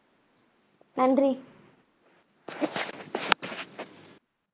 நன்றி